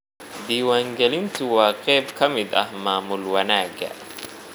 Diiwaangelintu waa qayb ka mid ah maamul wanaagga.